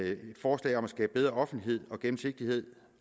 et forslag om at skabe bedre offentlighed og gennemsigtighed